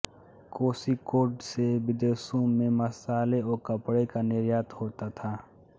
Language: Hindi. कोष़िक्कोड से विदेशों में मसाले व कपडे का निर्यात होता था